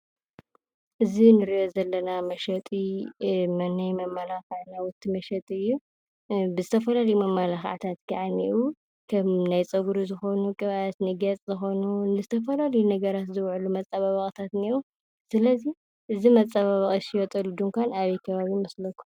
እዚ እንሪኦ ዘለና መሸጢ ናይ መመላኽዒ ናዉቲ መሸጢ እዩ። ብዝተፈላለዩ መመላኽዕታት ከዓ እንኤዉ። ከም እኒ ንፀጉሪ ዝኾኑ ቅብኣት፣ ንገፅ ዝኮኑ ንዝተፈላለዩ ነገራት ዝዉዕሉ መፀባበቕታት እንኤዉ። ስለ እዚ መፀባበቂ ዝሽየጠሉ ድንኳን ኣበይ ከባቢ ይመስለኩም?